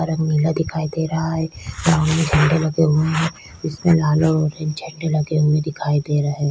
वहाँ नीला दिखाई दे रहा है ग्राउंड में झंडे लगे हुए ये है उसमे लाल और ऑरेंज झंडे लगे हुए दिखाई दे रहै है।